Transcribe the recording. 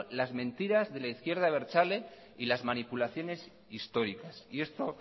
las mentiras de la izquierda abertzale y las manipulaciones históricas y esto